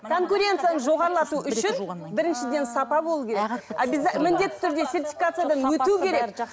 конкуренцияны жоғарлату үшін біріншіден сапа болу керек міндетті түрде сертификациядан өту керек